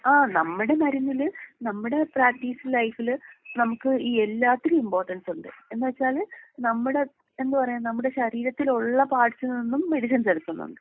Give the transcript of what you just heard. ആഹ് നമ്മടെ മരുന്നില് നമ്മുടെ പ്രാക്ടീസ് ലൈഫില് നമുക്ക് എല്ലാത്തിനും ഇമ്പോർട്ടൻസുണ്ട്. എന്ന് വെച്ചാല് നമ്മുടെ എന്താ പറയാ നമ്മുടെ ശരീരത്തിലുള്ള പാർട്സിൽ നിന്നും മെഡിസിൻസ് എടുക്കുന്നുണ്ട്.